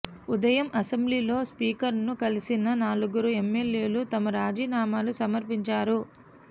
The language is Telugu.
ఉదయం అసెంబ్లీలో స్పీకర్ను కలిసిన నలుగురు ఎమ్మెల్యేలు తమ రాజీనామాలు సమర్పించారు